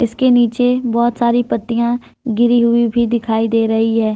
इसके नीचे बहोत सारी पत्तियां गिरी हुई भी दिखाई दे रही है।